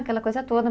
Aquela coisa toda.